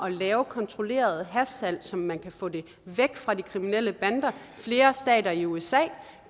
at lave kontrolleret hashsalg så man kan få det væk fra de kriminelle bander flere stater i usa